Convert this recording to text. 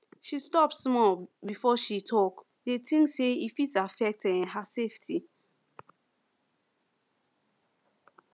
she stop small before she talk dey think say e fit affect um her safety